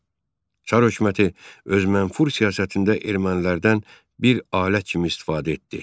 Çar hökuməti öz mənfur siyasətində ermənilərdən bir alət kimi istifadə etdi.